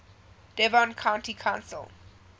devon county council